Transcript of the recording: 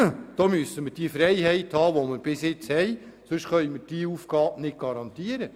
Wir brauchen hier die Freiheit, die wir bisher hatten, sonst können wir diese Aufgabe nicht garantieren.